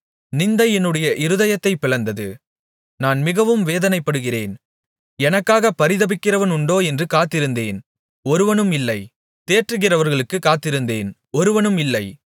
நிந்தை என்னுடைய இருதயத்தைப் பிளந்தது நான் மிகவும் வேதனைப்படுகிறேன் எனக்காக பரிதபிக்கிறவனுண்டோ என்று காத்திருந்தேன் ஒருவனும் இல்லை தேற்றுகிறவர்களுக்குக் காத்திருந்தேன் ஒருவனும் இல்லை